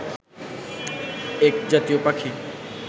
এক জাতীয় পাখি